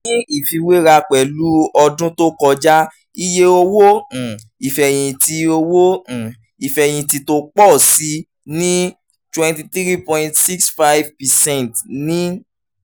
ní ìfiwéra pẹ̀lú ọdún tó kọjá iye owó um ìfẹ̀yìntì owó um ìfẹ̀yìntì tó pọ̀ sí i ní twenty three point six five percent ní